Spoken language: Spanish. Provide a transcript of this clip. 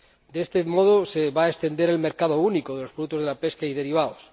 De este modo, se va a extender el mercado único de los productos de la pesca y derivados.